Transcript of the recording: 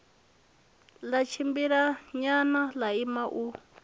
ḽa tshimbilanyana ḽa ima u